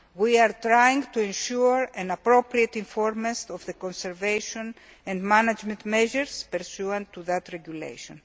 We are trying to ensure appropriate information of the conservation and management measures pursuant to that regulation.